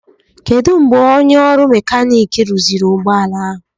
Kedụ mgbe onye ọrụ Mekaniki rụziri ụgbọ ala ahụ